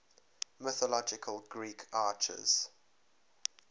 mythological greek archers